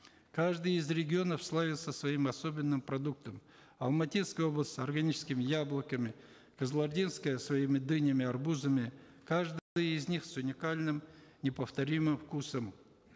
каждый из регионов славился своим особенным продуктом алматинская область органическими яблоками кызылординская своими дынями и арбузами из них с уникальным неповторимым вкусом